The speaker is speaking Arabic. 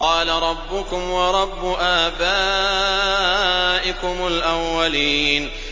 قَالَ رَبُّكُمْ وَرَبُّ آبَائِكُمُ الْأَوَّلِينَ